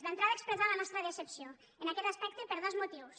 d’entrada expressar la nostra decepció en aquest aspecte per dos motius